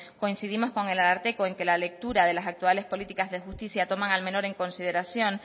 coincidimos con el ararteko en que la lectura de las actuales políticas de justicia toman al menor en consideración